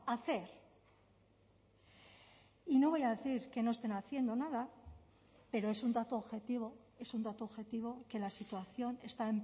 hacer y no voy a decir que no estén haciendo nada pero es un dato objetivo es un dato objetivo que la situación está